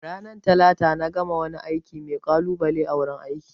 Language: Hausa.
Ranar Talata na gama wani aiki mai kalubale a wurin aiki